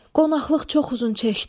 Qonaqlıq çox uzun çəkdi.